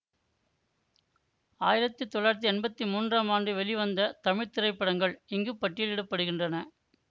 ஆயிரத்தி தொள்ளாயிரத்தி எம்பத்தி மூன்றாம் ஆண்டு வெளிவந்த தமிழ் திரைப்படங்கள் இங்கு பட்டியலிட படுகின்றன